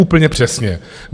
Úplně přesně.